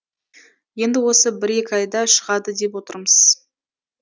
енді осы бір екі айда шығады деп отырмыз